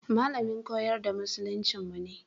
Malamin koyar da musuluncinmu ne.